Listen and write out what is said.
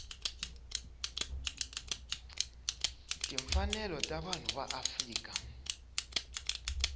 timfanelo ta vanhu ya afrika